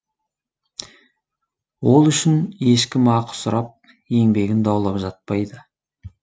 ол үшін ешкім ақы сұрап еңбегін даулап жатпайды